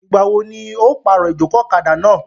Ìgbà wo ní ọ yóò pàrọ̀ ìjòkó ọ̀kadà náà?